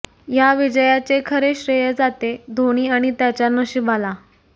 या विजयाचे खरे श्रेय जाते धोनी आणि त्याच्या नशिबाला